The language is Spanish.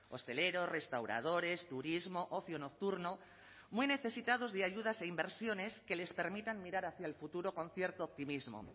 hosteleros restauradores turismo ocio nocturno muy necesitados de ayudas e inversiones que les permitan mirar hacia el futuro con cierto optimismo